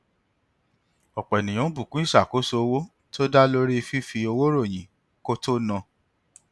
ọpọ ènìyàn ń bùkún fún ìṣàkóso owó tó dá lórí fífi owó ròyìn kó tó na